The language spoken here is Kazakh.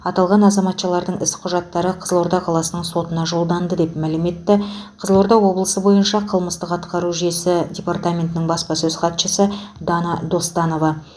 аталған азаматшалардың іс құжаттары қызылорда қаласының сотына жолданды деп мәлім етті қызылорда облысы бойынша қылмыстық атқару жүйесі департаментінің баспасөз хатшысы дана достанова